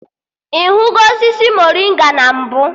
Ị hụgo osisi morịnga na mbụ?